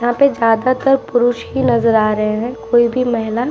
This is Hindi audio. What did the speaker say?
यहाँ पे ज्यादातर पुरुष ही नजर आ रहे हैं। कोई भी महिला --